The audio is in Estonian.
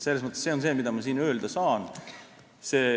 Selles mõttes see on kõik, mida ma siin öelda saan.